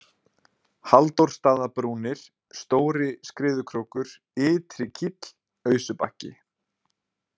Halldórsstaðabrúnir, Stóri-Skriðukrókur, Ytri-Kíll, Ausubakki